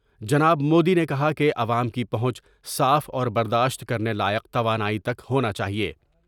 جناب مودی نے کہا کہ عوام کی پہونچ صاف اور برداشت کر نے لائق توانائی تک ہونا چاہئے ۔